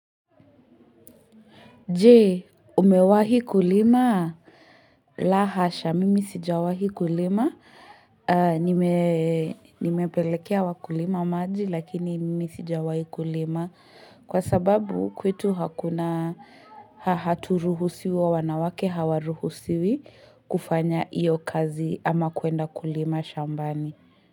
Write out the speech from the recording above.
Jee, umewahi kulimaa? La hasha, mimi sijawahi kulima. Nime Nimepelekea wakulima maji, lakini mimi sijawahi kulima. Kwa sababu kwetu hakuna haturuhusiwi wanawake hawaruhusiwi kufanya iyo kazi ama kuenda kulima shambani.